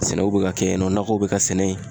Sɛnɛw be ka kɛ yen nɔ , nakɔw be ka sɛnɛ yen.